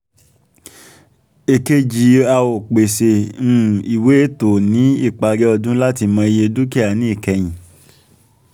èkejì a ó pèsè um ìwé ètò ní ìparí ọdún láti mọ̀ iye dúkìá ní ìkẹyìn